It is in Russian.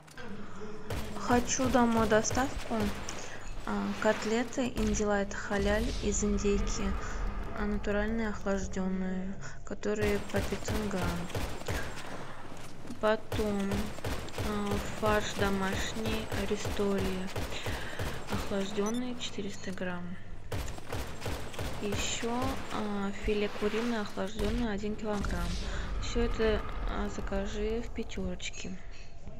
хочу домой доставку котлеты индилайт халяль из индейки натуральные охлажденные которые по пятьсот грамм потом фарш домашний аристория охлажденный четыреста грамм еще филе куриное охлажденное один килограмм все это закажи в пятерочке